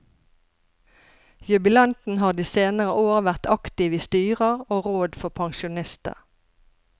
Jubilanten har de senere år vært aktiv i styrer og råd for pensjonister.